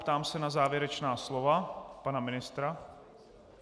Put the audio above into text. Ptám se na závěrečná slova pana ministra.